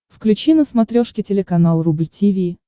включи на смотрешке телеканал рубль ти ви